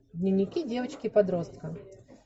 дневники девочки подростка